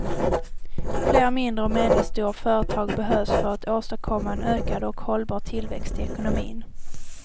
Fler mindre och medelstora företag behövs för att åstadkomma en ökad och hållbar tillväxt i ekonomin.